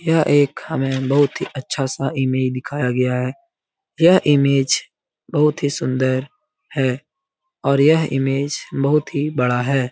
यह एक हमे बहुत अच्छा सा इमेज दिखाया गया है यह इमेज बहुत ही सुंदर है और यह इमेज बहुत ही बड़ा है।